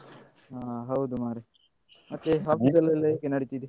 ಹಾ ಹೌದು ಮಾರೆ ಮತ್ತೆ office ಅಲ್ಲೆಲ್ಲ ಹೇಗೆ ನಡೀತಿದೆ?